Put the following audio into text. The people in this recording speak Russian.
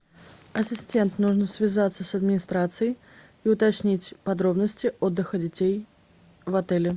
ассистент нужно связаться с администрацией и уточнить подробности отдыха детей в отеле